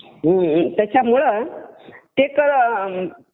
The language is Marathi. त्याच्यामुळं ते